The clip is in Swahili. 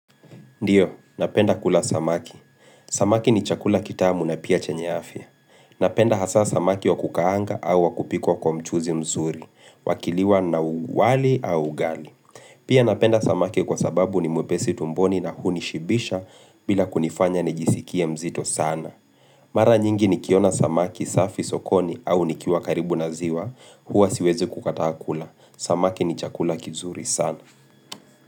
Ndio, napenda kula samaki. Samaki ni chakula kitamu na pia chenye afya. Napenda hasa samaki wa kukaanga au wa kupikwa kwanmchuuzi mzuri, wakiliwa na wali au ugali. Pia napenda samaki kwa sababu ni mwepesi tumboni na hunishibisha bila kunifanya nijisikie mzito sana. Mara nyingi nikiona samaki safi sokoni au nikiwa karibu na ziwa huwa siwezi kukataa kula. Samaki ni chakula kizuri sana.